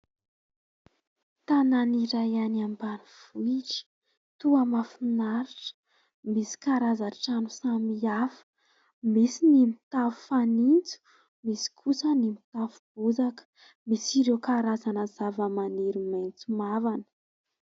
Tanana iray any ambanivohitra. Toa mahafinaritra, misy karazan-trano samihafa. Misy ny tafo fanitso, misy kosa ny tafo bozaka, misy ireo karazana zavamaniry maitso mavana.